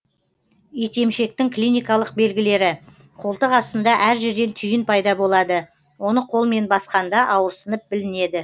итемшектің клиникалық белгілері қолтық астында әр жерден түйін пайда болады оны қолмен басқанда ауырсынып білінеді